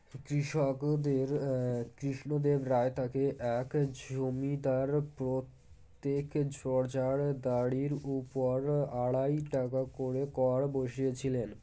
কৃষকদের এএ কৃষ্ণদেব রায় তাকে এক জমিদার প্রত্যেক জোড়জাড়দারির উপর আড়াই টাকা করে কর বসিয়েছিলেন